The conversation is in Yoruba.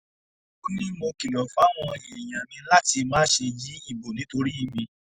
ó ní mo kìlọ̀ fáwọn èèyàn mi láti má ṣe yí ìbò nítorí mi